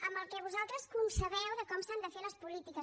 amb el que vosaltres concebeu de com s’han de fer les polítiques